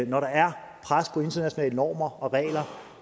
når der er pres på internationale normer og regler